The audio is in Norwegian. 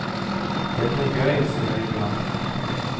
Det blir gøy, sier jubilanten.